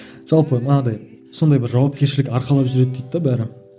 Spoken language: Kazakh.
жалпы манағыдай сондай бір жауапкершілік арқалап жүреді дейді де бәрі